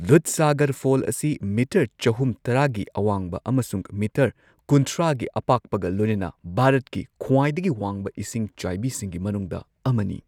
Dudhsagar fall ꯑꯁꯤ meter ꯆꯍꯨꯝ ꯇꯔꯥꯒꯤ ꯑꯋꯥꯡꯕ ꯑꯃꯁꯨꯡ ꯃꯤꯇꯔ ꯀꯨꯟꯊ꯭ꯔꯥꯒꯤ ꯑꯄꯥꯛꯄꯒ ꯂꯣꯏꯅꯅ ꯚꯥꯔꯠꯀꯤ ꯈ꯭ꯋꯥꯏꯗꯒꯤ ꯋꯥꯡꯕ ꯏꯁꯤꯡꯆꯥꯏꯕꯤꯁꯤꯡꯒꯤ ꯃꯅꯨꯡꯗ ꯑꯃꯅꯤ꯫